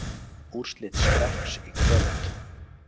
Úrslit Skrekks í kvöld